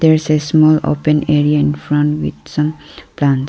its a small open area infront with some plants.